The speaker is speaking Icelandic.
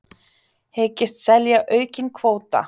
Hyggst selja aukinn kvóta